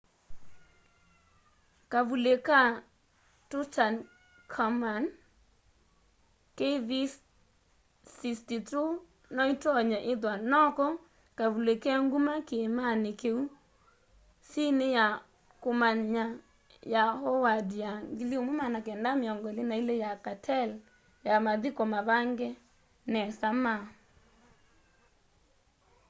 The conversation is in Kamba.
kavuli ka tutankhamun kv62. kv62 no itonye ithwa noko kavuli ke nguma kiimani kiu sini ya kumanya ya howard ya 1922 ya cartel ya mathiko mavange nesa ma